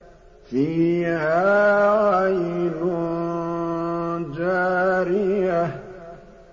فِيهَا عَيْنٌ جَارِيَةٌ